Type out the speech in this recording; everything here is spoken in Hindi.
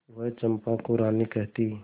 वह चंपा को रानी कहती